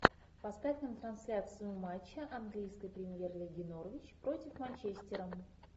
поставь нам трансляцию матча английской премьер лиги норвич против манчестера